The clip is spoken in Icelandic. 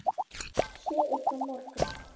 Sé ykkur á morgun.